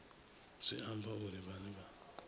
zwi amba uri vhane vha